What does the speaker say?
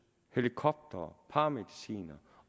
helikoptere paramedicinere